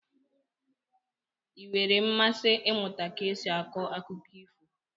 Ị nwere mmasị ịmụta ka esi akọ akụkọ ifo?